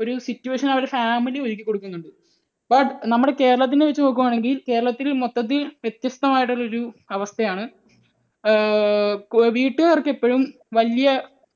ഒരു situation അവരുടെ family ഒരുക്കി കൊടുക്കുന്നുണ്ട്. നമ്മുടെ, but നമ്മുടെ കേരളത്തിൻറെ വച്ച് നോക്കുകയാണെങ്കിൽ ഈ കേരളത്തിൽ മൊത്തത്തിൽ വ്യത്യസ്തമായിട്ടുള്ള ഒരു അവസ്ഥയാണ്. ഏർ വീട്ടുകാർക്ക് എപ്പോഴും വലിയ